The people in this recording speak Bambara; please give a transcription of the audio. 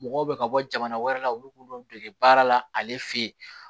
Mɔgɔw bɛ ka bɔ jamana wɛrɛ la olu b'olu dege baara la ale fe yen